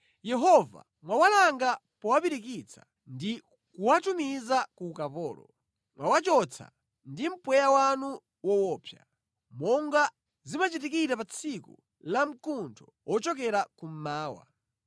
Yehova mwawalanga powapirikitsa ndi kuwatumiza ku ukapolo, mwawachotsa ndi mpweya wanu woopsa, monga zimachitikira pa tsiku la mkuntho wochokera kummawa.